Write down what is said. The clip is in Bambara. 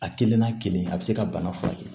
A kelen n'a kelen a bɛ se ka bana furakɛ